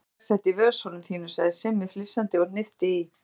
Kannski vex þetta í vösunum þínum sagði Simmi flissandi og hnippti í